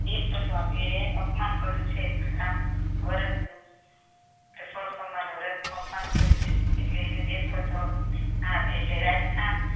દેશ અપમાન કર્યું છે આ ભરત નું તે સો સમ્માન નવરત નું અપમાન કર્યું છે એટલે એના દેશ હતો આપ એટલે